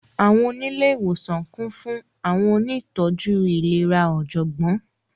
Àwọńilẹ̀ iwosan kún fún Àwọńoníìtọjú ilẹ̀rà ojọ́gbón.